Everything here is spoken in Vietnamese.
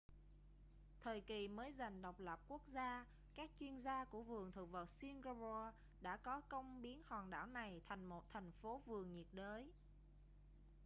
thời kỳ mới giành độc lập quốc gia các chuyên gia của vườn thực vật singapore đã có công biến hòn đảo này thành một thành phố vườn nhiệt đới